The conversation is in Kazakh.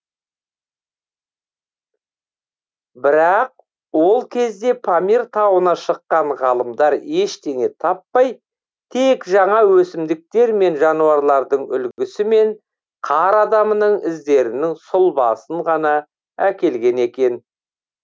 бірақ ол кезде памир тауына шыққан ғалымдар ештеңе таппай тек жаңа өсімдіктер мен жануарлардың үлгісі мен қар адамының іздерінің сұлбасын ғана әкелген екен